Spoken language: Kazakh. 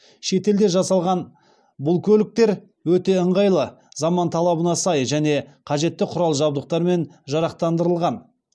шетелде жасалған бұл көліктер өте ыңғайлы заман талабына сай және қажетті құрал жабдықтармен жарақтандырылған